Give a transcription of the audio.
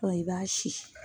i b'a si